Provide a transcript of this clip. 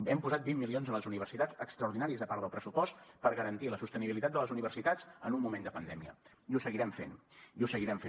hem posat vint milions a les universitats extraordinaris a part del pressupost per garantir la sostenibilitat de les universitats en un moment de pandèmia i ho seguirem fent i ho seguirem fent